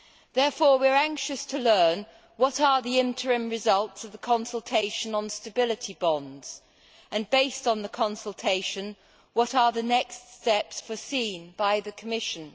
Therefore we are anxious to learn what are the interim results of the consultation on stability bonds and, based on the consultation, what are the next steps foreseen by the Commission.